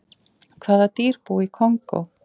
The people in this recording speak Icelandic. Hvaða dýr búa í Kongó?